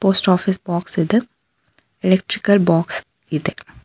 Post office box ಇದೆ electrical box ಇದೆ.